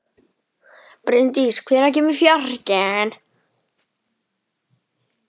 Bryndís, hvenær kemur fjarkinn?